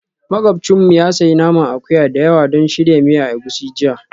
Makwabcinmu ya sayi naman akuya da yawa don shirya miya egusi jiya